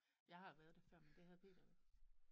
Jeg har været det før men det havde Peter jo ikke